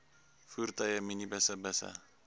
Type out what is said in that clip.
voertuie minibusse busse